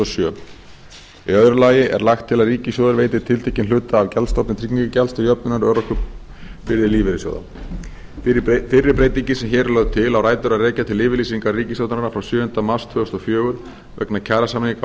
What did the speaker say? sjö í öðru lagi er lagt til að ríkissjóður veiti tiltekinn hluta af gjaldstofni tryggingagjalds til jöfnunar örorkubyrði lífeyrissjóða fyrri breytingin sem hér er lögð til á rætur að rekja til yfirlýsingar ríkisstjórnarinnar frá sjöunda mars tvö þúsund og fjögur vegna kjarasamninga á